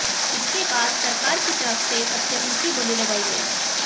इसके बाद सरकार की तरफ से सबसे ऊंची बोली लगाई गई